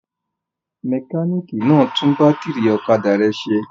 Mẹkáníkì náà tún bátírí ọ̀kadà rẹ̀ ṣe?